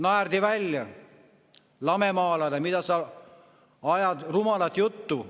Naerdi välja, lamemaalane, mida sa ajad rumalat juttu.